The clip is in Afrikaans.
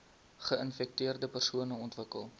geinfekteerde persone ontwikkel